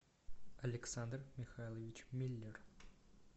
александр михайлович миллер